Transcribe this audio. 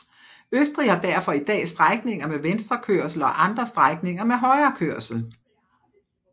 Østrig har derfor i dag strækninger med venstrekørsel og andre strækninger med højrekørsel